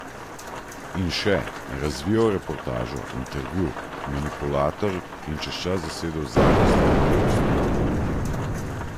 In še: 'Razvijal reportažo, intervju, manipulator in čez čas zasedel Zadnjo stran, ki je postala kultna.